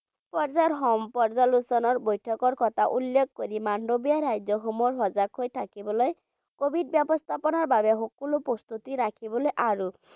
পৰ্যায়ৰ আলোচনাৰ বৈঠকৰ কথাও উল্লেখ কৰি মাণ্ডভিয়াই ৰাজ্যসমূহক সজাগ হৈ থাকিবলৈ covid ব্যৱস্থাপনাৰ বাবে সকলো প্ৰস্তুতি ৰাখিবলৈ আৰু